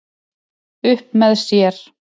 Upp með sér